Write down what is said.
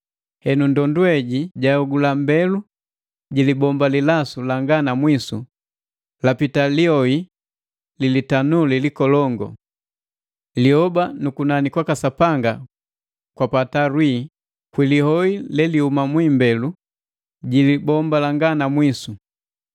Henu, ndondu heji jahogula mbelu ji libomba lilasu langa na mwisu, lapita lioi li litanuli likolongu. Lioba nu kunani kwaka Sapanga kwapata lwii kwi lioi lelihuma mu imbelu ji libomba langa na mwisu.